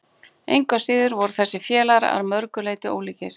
engu að síður voru þessir félagar að mörgu leyti ólíkir